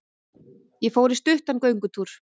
Ég fór í stuttan göngutúr.